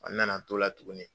A nana to la tugunni.